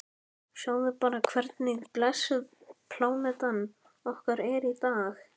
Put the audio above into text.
Sjáðu bara hvernig blessuð plánetan okkar er í dag.